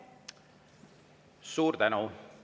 Suur tänu!